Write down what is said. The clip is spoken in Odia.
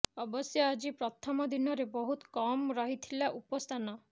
ଅବଶ୍ୟ ଆଜି ପ୍ରଥମ ଦିନରେ ବହୁତ କମ୍ ରହିଥିଲା ଉପସ୍ଥାନ